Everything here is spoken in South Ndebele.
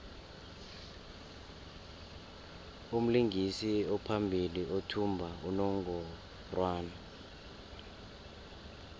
umlingisi ophambili uthumba unongorwand